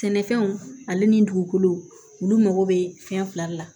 Sɛnɛfɛnw ale ni dugukolo olu mago bɛ fɛn fila de la